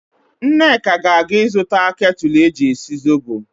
Nneka ga-aga ịzụta ketụlụ eji esi zobo.